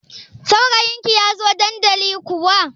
Saurayin ki ya zo dandali kuwa?